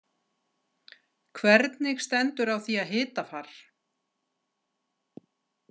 Hvernig stendur á því að hitafar.